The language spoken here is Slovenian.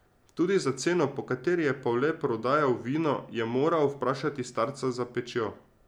Tudi za ceno, po kateri je Pavle prodajal vino, je moral vprašati starca za pečjo.